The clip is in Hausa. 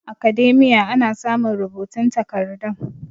academia ana samun rubutun takardun